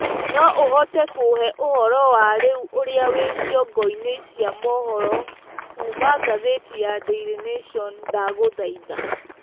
no uhote kũhee ũhoro wa rĩũ ũrĩa wi cĩongo ini cia mohoro kũũma gathiti ya daily nation ndagũthaĩtha